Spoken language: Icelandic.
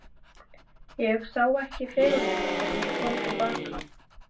Ég sá ekki fegurðina fyrr en ég kom til baka.